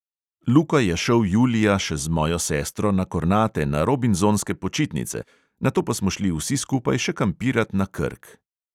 Luka je šel julija še z mojo sestro na kornate na robinzonske počitnice, nato pa smo šli vsi skupaj še kampirat na krk.